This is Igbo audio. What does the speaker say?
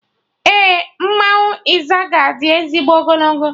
Ee, mmanwụ Izaga di ezigbo ogologo